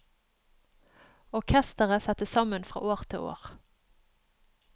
Orkestret settes sammen fra år til år.